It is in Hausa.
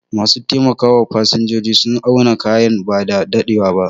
Ma su taimaka wa fasinjoji sun auna kayana bada daɗewa ba